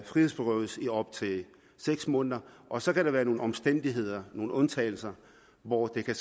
frihedsberøves i op til seks måneder og så kan der være nogle omstændigheder nogle undtagelser hvor det kan